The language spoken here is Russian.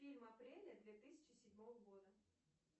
фильм апреля две тысячи седьмого года